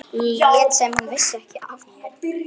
Lét sem hún vissi ekki af mér.